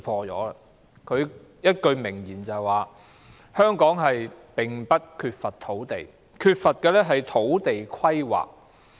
他有一句名言是："香港並不缺乏土地，缺乏的是土地規劃。